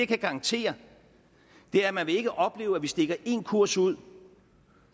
kan garantere er at man ikke vil opleve at vi stikker en kurs ud